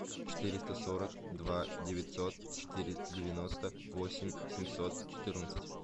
четыреста сорок два девятьсот четыре девяносто восемь семьсот четырнадцать